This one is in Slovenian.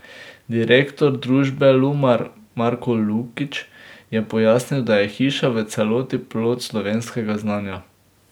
Direktor družbe Lumar Marko Lukić je pojasnil, da je hiša v celoti plod slovenskega znanja.